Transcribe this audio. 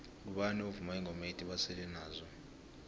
ngubani ovuma ingoma ethi basele nazo